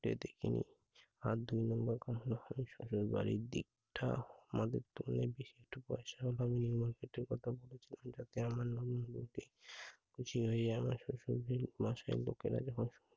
আর দুই নাম্বার কাহারো হাদি শশুড়বাড়ির দিক ঠা আমাদের তো অনেক বেশি একটু পয়সার অভাব নেই market এর কথা বলেছে জমিদারকে আমার নাম বোলো গে। জিরোয় আমার শশুর বাড়ির মশাইয়ের লোকেরা যখন